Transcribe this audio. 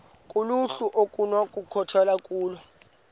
kuluhlu okunokukhethwa kulo